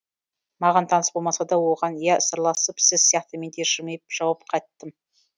маған таныс болмасада оған ия сырласып сіз сияқты менде жымиып жауап қаттым